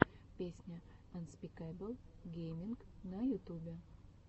песня анспикэбл гейминг на ютубе